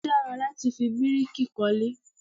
Ó dára láti fi bíríkì kọ́lé